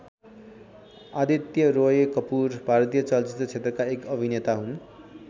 आदित्य रोय कपूर भारतीय चलचित्र क्षेत्रका एक अभिनेता हुन्।